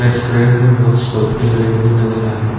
Restaurant में बहुत सोफे लगे हुए नजर आ रहे हैं।